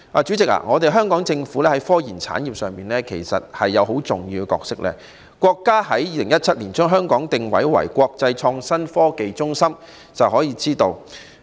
主席，香港政府在科研產業上有很重要的角色，從國家在2017年將香港定位為國際創新科技中心便可知一二。